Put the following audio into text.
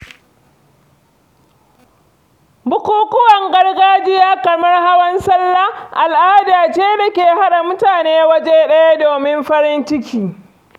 Bukukuwan gargajiya kamar hawan sallah al'ada ce dake haɗa mutane waje ɗaya domin farin ciki.